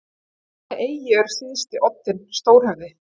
Á hvaða eyju er syðsti oddinn stórhöfði?